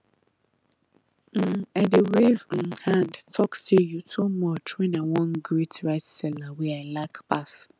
um i dey wave um hand talk say you too much when i wan greet rice seller wey i like pass